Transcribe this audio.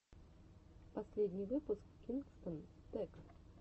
последний выпуск кингстон тэк